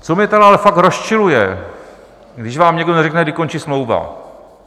Co mě tedy ale fakt rozčiluje, když vám někdo neřekne, kdy končí smlouva.